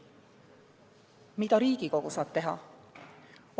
Mida saaks teha Riigikogu?